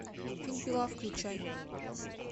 фильм пила включай